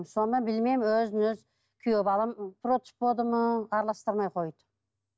сонымен білмеймін өзінен өзі күйеу балам против болды ма араластырмай қойды